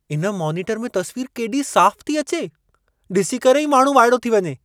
इन मोनीटरु में तस्वीर केॾी साफ़ु थी अचे. डि॒सी करे ई माण्हू वाइड़ो थी वञे!